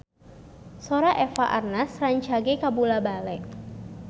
Sora Eva Arnaz rancage kabula-bale